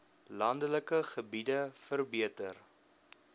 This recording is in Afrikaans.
landelike gebiede verbeter